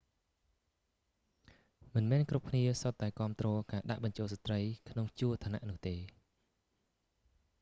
មិនមែនគ្រប់គ្នាសុទ្ធតែគាំទ្រការដាក់បញ្ចូលស្ត្រីក្នុងជួរឋានៈនោះទេ